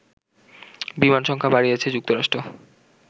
বিমান সংখ্যা বাড়িয়েছে যুক্তরাষ্ট্র